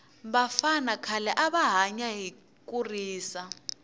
vafana khale ava hanya hi kurisa